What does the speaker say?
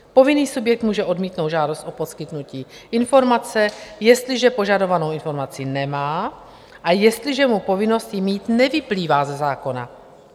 Povinný subjekt může odmítnout žádost o poskytnutí informace, jestliže požadovanou informaci nemá a jestliže mu povinnost ji mít nevyplývá ze zákona.